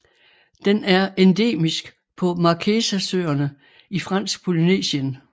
Den er endemisk på Marquesasøerne i Fransk Polynesien